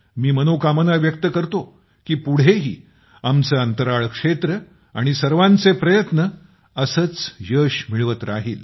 मी मनोकामना व्यक्त करतो की पुढेही आपलं अंतराळ क्षेत्र आणि सर्वांचे प्रयत्न असंच यश मिळवत राहील